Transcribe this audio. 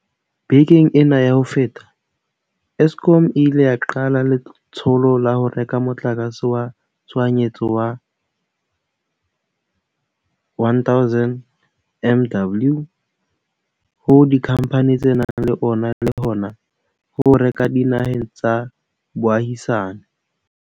Bekeng ena ya ho feta, Eskom e ile ya qala letsholo la ho reka motlakase wa tshohanyetso wa 1 000 MW ho dikhamphane tse nang le ona le hona ho o reka dinaheng tsa boahisane.